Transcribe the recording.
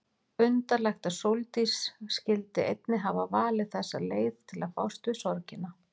Undarlegt að Sóldís skyldi einnig hafa valið þessa leið til að fást við sorgina.